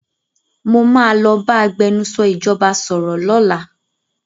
Mo máa lọ bá agbẹnusọ ìjọba sọ̀rọ̀ lọ́làá.